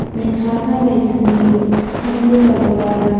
Men har qanday sun’iy yo‘lsiz ham go‘zal bo‘la olaman.